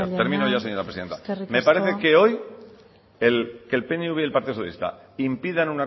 que dilucidar eskerrik asko oyarzabal jauna eskerrik asko termino ya señora presidenta me parece que hoy que el pnv y el partido socialista impidan